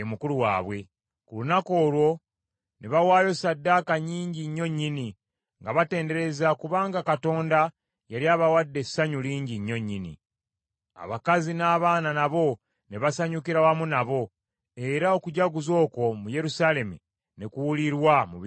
Ku lunaku olwo, ne bawaayo ssaddaaka nnyingi nnyo nnyini, nga batendereza kubanga Katonda yali abawadde essanyu lingi nnyo nnyini. Abakazi n’abaana nabo ne basanyukira wamu nabo, era okujaguza okwo mu Yerusaalemi ne kuwulirwa mu bifo eby’ewala.